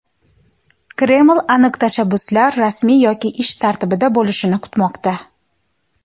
Kreml aniq tashabbuslar rasmiy yoki ish tartibida bo‘lishini kutmoqda.